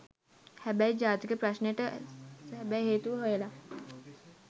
හැබැයි ජාතික ප්‍රශ්නෙට සැබෑ හේතුව හොයලා